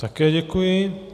Také děkuji.